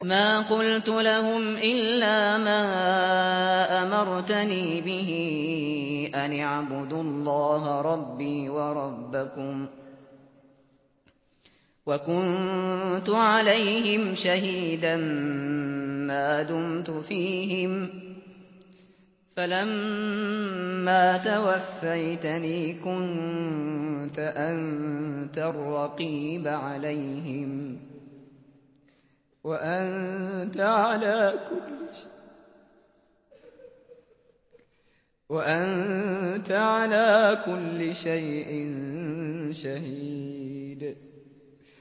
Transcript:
مَا قُلْتُ لَهُمْ إِلَّا مَا أَمَرْتَنِي بِهِ أَنِ اعْبُدُوا اللَّهَ رَبِّي وَرَبَّكُمْ ۚ وَكُنتُ عَلَيْهِمْ شَهِيدًا مَّا دُمْتُ فِيهِمْ ۖ فَلَمَّا تَوَفَّيْتَنِي كُنتَ أَنتَ الرَّقِيبَ عَلَيْهِمْ ۚ وَأَنتَ عَلَىٰ كُلِّ شَيْءٍ شَهِيدٌ